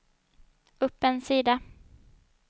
upp en sida